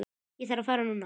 Ég þarf að fara núna